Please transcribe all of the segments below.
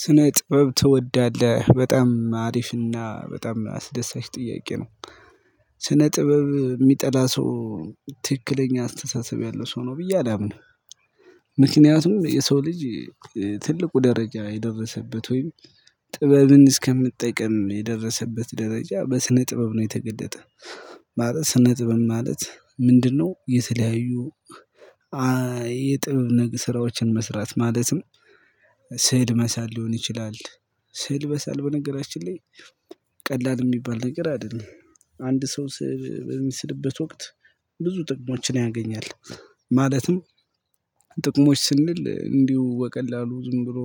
ስነ ጥበብ ትወዳለህ በጣም አሪፍና በጣም አስደሳች ጥያቄ ነው። ስነ ጥበብ የሚጠላ ሰው ትክክለኛ አስተሳሰብ ያለው ሰው ነው ብዬ አላምንም። ምክንያቱም የሰው ልጅ ትልቁ ደረጃ የደረሰበት ወይም ጥበብን እስከመጠቀም የደረሰበት ደረጃ በስነ ጥበብ ነው የተገለጠ። ማለት ስነ ጥበብ ማለት ምንድነው? የተለያዩ አ አ የጥበብ ነገ ስራዎችን መስራት ማለትም። ስዕል መሳል ሊሆን ይችላል። ስዕል መሳል በነገራችን ላይ። ቀላል የሚባል ነገር አይደለም። አንድ ሰው ስዕል በሚስልበት ወቅት ብዙ ጥቅሞችን ያገኛል። ማለትም ጥቅሞች ስንል እንዲሁ በቀላሉ ዝም ብሎ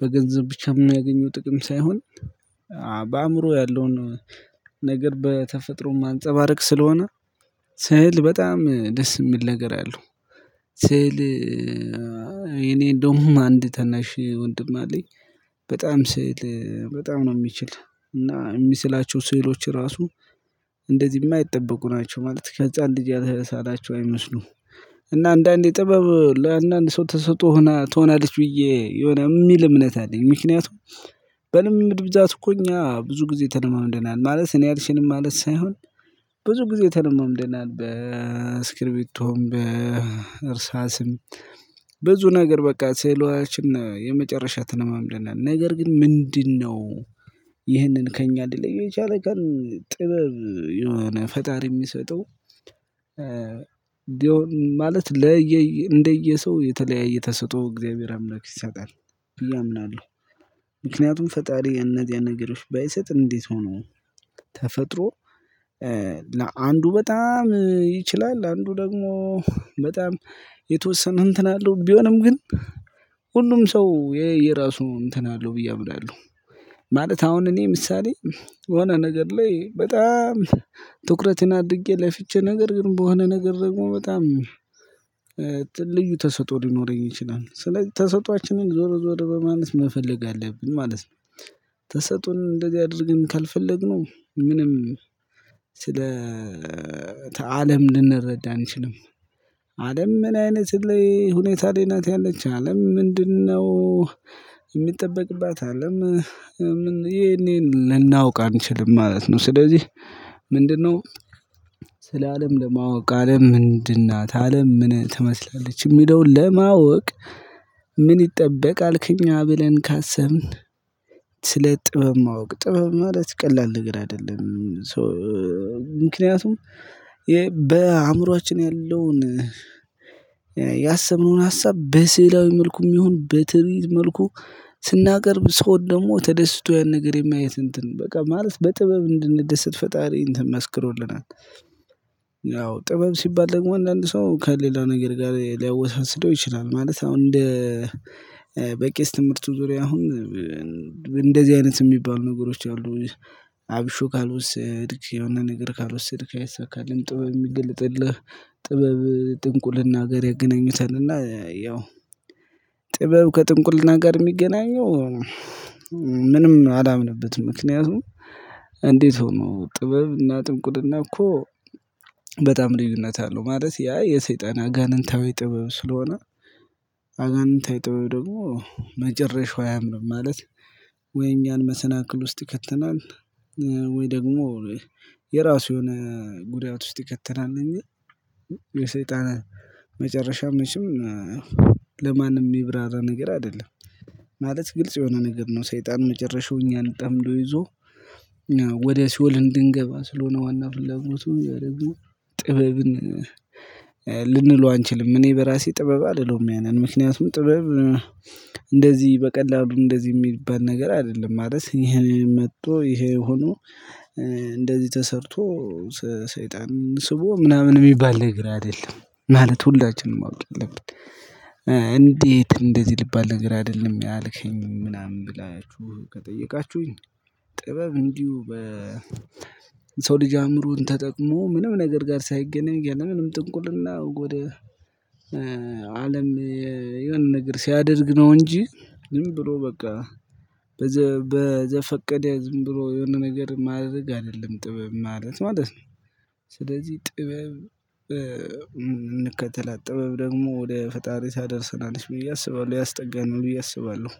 በገንዘብ ብቻ የሚናገኘው ጥቅም ሳይሆን። አ በአእምሮ ያለውን ነገር በተፈጥሮ ማንፀባረቅ ስለሆነ ስዕል በጣም ደስ የሚል ነገር አለው። ስዕል የኔ እንደውም አንድ ታናሽ ወንድም አለኝ በጣም ስዕል በጣም ነው የሚችል እና የሚስላቸው ስዕሎች ራሱ። እንደዚህ የማይጠበቁ ናቸው ማለት ከህፃን ልጅ ያለ ሳላቸው አይመስሉም። እና አንዳንዴ ጥበብ ለአንዳንድ ሰው ተስጦ ሆና ትሆናለች ብዬ የሆነ የሚል እምነት አለኝ። ምክንያቱም በልምድ ብዛት እኮ እኛ ብዙ ጊዜ ተለማምደናል ማለት እኔ አልችልም ማለት ሳይሆን። ብዙ ጊዜ ተለማምደናል በእስክሪቢቶም በእርሳስም ብዙ ነገር በቃ ስዕሎችን የመጨረሻ ተለማምደናል ነገር ግን ምንድነው? ይህንን ከእኛ ሊለየው የቻለ ካልን ጥበብ የሆነ ፈጣሪ የሚሰጠው እንደው ማለት ለየ እንደየ ሰው የተለያየ ተሰጦ እግዚአብሔር አምላክ ይሰጣል ብዬ አምናለሁ። ምክንያቱም ፈጣሪ እነዚያን ነገሮች ባይሰጥ እንዴት ሆኖ ተፈጥሮ ለአንዱ በጣም ይችላል አንዱ ደግሞ በጣም የተወሰነ እንትን አለው ቢሆንም ግን ሁሉም ሰው የየራሱ እንትን አለው ብዬ አምናለሁ። ማለት አሁን እኔ ምሳሌ የሆነ ነገር ላይ በጣም ትኩረትን አድርጌ ለፍቼ ነገር ግን በሆነ ነገር ደግሞ በጣም ልዩ ተሰጦ ሊኖረኝ ይችላል ስለዚህ ተሰጥኦአችንን ዞር ዞር በማለት መፈለግ አለብን ማለት ነው። ተሰጦን እንደዚህ አድርገን ካልፈለግነው ምንም ስለ አለም ልንረዳ አንችልም። ምን አይነት ላይ ሁኔታ ላይ ናት ያለች አለም ምንድነው? የሚጠበቅባት አለም ምን ይሄን ይሄን ልናውቅ አንችልም ማለት ነው። ስለዚህ ምንድነው? ስለ አለም ለማወቅ አለም ምንድን ናት አለም ምን ትመስላለች የሚለውን ለማወቅ ምን ይጠበቃል ከእኛ ብለን ካሰብን። ስለ ጥበብ ማወቅ ጥበብ ማለት ቀላል ነገር አይደለም ሰው ምክንያቱም። የ በአእምሮአችን ያለውን ያሰብነውን ሀሳብ በስዕላዊ መልኩም ይሁን በትዕቢት መልኩ ስናቀርብ ሰው ደግሞ ተደስቶ ያን ነገር የማየት እንትን በቃ ማለት በጥበብ እንድንደሰት ፈጣሪ እንትን መስክሮልናል። ያው ጥበብ ሲባል ደግሞ አንዳንድ ሰው ከሌላ ነገር ጋር ሊያወሳስደው ይችላል። ማለት አሁን እንደ በቄስ ትምህርቱ ዙሪያ አሁን እንደዚህ አይነት የሚባሉ ነገሮች አሉ። አብሹ ካልወሰድክ የሆነ ነገር ካልወሰድክ አይሳካልህም ጥበብ የሚገልጥልህ ጥበብ ጥንቁልና ጋር ያገናኙታልና ያው። ጥበብ ከጥንቁልና ጋር የሚገናኘው ምንም አላምንበትም። ምክንያቱም እንዴት? ሆኖ ጥበብ እና ጥንቁልና እኮ በጣም ልዩነት አለው ማለት ያ የሰይጣን አጋንንታዊ ጥበብ ስለሆነ። አጋንንታዊ ጥበብ ደግሞ መጨረሻው አያምርም ማለት። ወይ እኛን መሰናክል ውስጥ ይከተናል። ወይ ደግሞ የራሱ የሆነ ጉዳት ውስጥ ይከተናል። እኛ የሰይጣን መጨረሻ መቼም ለማንም የሚብራራ ነገር አይደለም። ማለት ግልጽ የሆነ ነገር ነው ሰይጣን መጨረሻው እኛን ጠምዶ ይዞ። ወደ ሲኦል እንድንገባ ስለሆነ ዋና ፍላጎቱ ያደረጉ ጥበብን። ለ ልንለው አንችልም እኔ በራሴ ጥበብ አልለውም ያንን ምክንያቱም ጥበብ። እንደዚህ በቀላሉ እንደዚህ የሚባል ነገር አይደለም ማለት ይሄንን መጥቶ ይሄ ሆኖ እንደዚህ ተሰርቶ ሰሰይጣንን ስቦ ምናምን የሚባል ነገር አይደለም። ማለት ሁላችንም ማወቅ ያለብን። እንዴት እንደዚህ ልባል ነገር አይደለም ያልከኝም ምናምን ብላችሁ ከጠየቃችሁኝ። ጥበብ እንዲሁ በ ሰው ልጅ አእምሮን ተጠቅሞ ምንም ነገር ጋር ሳይገናኝ ያለምንም ጥንቁልና ወደ አለም የሆነ ነገር ሲያደርግ ነው እንጂ ዝም ብሎ በቃ በዘ በዘፈቀደ ዝም ብሎ የሆነ ነገር ማድረግ አይደለም ጥበብ ማለት ማለት ነው። ስለዚህ ጥበብ እንከተላት ጥበብ ደግሞ ወደ ፈጣሪ ታደርሰናለች ብዬ አስባለሁ ያስጠጋናል ብዬ አስባለሁ።